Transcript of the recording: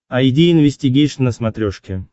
айди инвестигейшн на смотрешке